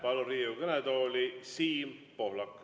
Palun Riigikogu kõnetooli Siim Pohlaku.